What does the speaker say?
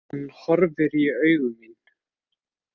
Hann horfir í augu mín.